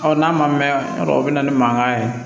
n'a ma mɛn o bɛ na ni mankan ye